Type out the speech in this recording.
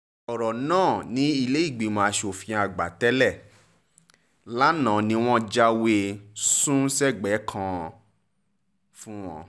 ọ̀rọ̀ náà ní ilé ìgbìmọ̀ asòfin àgbà tẹ̀ lé lánàá ni wọ́n bá jáwèé e-sun-sẹ́gbẹ̀ẹ́-kan fún wọn